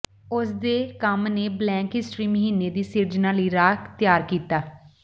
ਉਸ ਦੇ ਕੰਮ ਨੇ ਬਲੈਕ ਹਿਸਟਰੀ ਮਹੀਨੇ ਦੀ ਸਿਰਜਣਾ ਲਈ ਰਾਹ ਤਿਆਰ ਕੀਤਾ